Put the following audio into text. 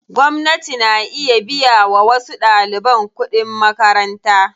Gwamnati na iya biya wa wasu ɗaliban kuɗin makaranta.